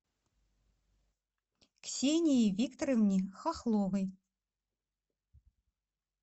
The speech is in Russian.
ксении викторовне хохловой